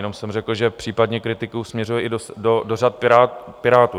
Jenom jsem řekl, že případně kritiku směřuji i do řad Pirátů.